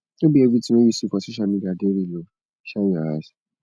no be everytin wey you see for social media dey real o shine your eyes